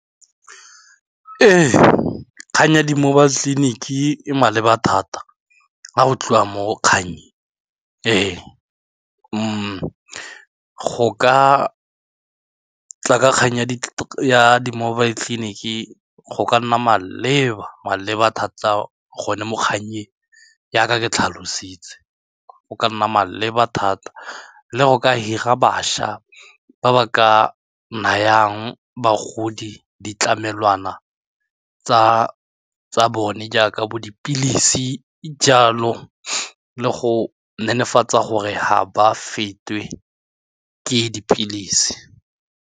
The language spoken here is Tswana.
Ee, kgang ya di-mobile tleliniki e maleba thata ga go tliwa mo kgang e, go ka tla ka kgang ya di-mobile tleliniki go ka nna maleba maleba thata gone mo kganyeng jaaka ke tlhalositse go ka nna maleba thata le go ka hira bašwa ba ba ka nayang bagodi ditlamelwana tsa tsa bone jaaka bo dipilisi jalo le go netefatsa gore ga ba fetwe ke dipilisi.